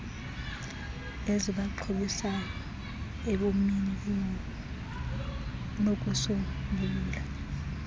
ezibaxhobisayo ebomini kunokusombulula